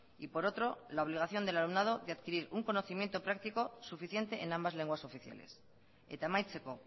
y por otro la obligación del alumnado de adquirir un conocimiento práctico suficiente en ambas lenguas oficiales eta amaitzeko